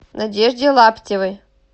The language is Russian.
надежде лаптевой